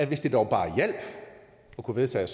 hvis det dog bare hjalp at kunne vedtage